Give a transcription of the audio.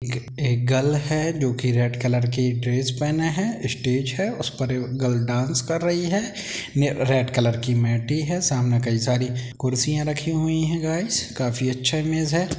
यह एक गर्ल है जो की रेड कलर की ड्रेस पेहना है स्टेज है उस पर गर्ल डांस कर रही है रेड कलर की मेट है सामने कई सारी कुर्सियाँ रखी हुए हैं गाइस काफी अच्छा इमेज है।